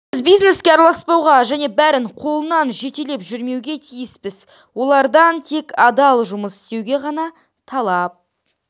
біз бизнеске араласпауға және бәрін қолынан жетелеп жүрмеуге тиіспіз олардан тек адал жұмыс істеу ғана талап